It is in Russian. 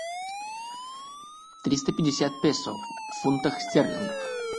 триста пятьдесят песо в фунтах стерлингов